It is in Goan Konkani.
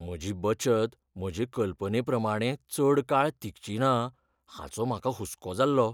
म्हजी बचत म्हजे कल्पनेप्रमाणें चड काळ तिगचीना हाचो म्हाका हुसको जाल्लो.